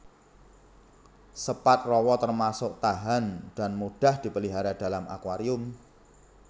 Sepat rawa termasuk tahan dan mudah dipelihara dalam akuarium